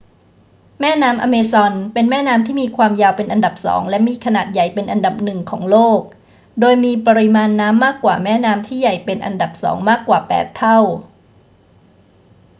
แม่น้ำอเมซอนเป็นแม่น้ำที่มีความยาวเป็นอันดับสองและมีขนาดใหญ่เป็นอันดับหนึ่งของโลก โดยมีปริมาณน้ำมากกว่าแม่น้ำที่ใหญ่เป็นอันดับสองมากกว่า 8 เท่า